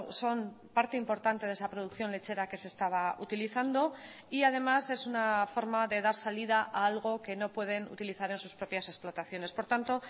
son parte importante de esa producción lechera que se estaba utilizando y además es una forma de dar salida a algo que no pueden utilizar en sus propias explotaciones por tanto